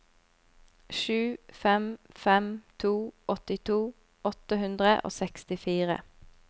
sju fem fem to åttito åtte hundre og sekstifire